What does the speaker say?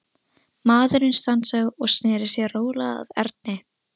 Maðurinn stansaði og sneri sér rólega að Erni.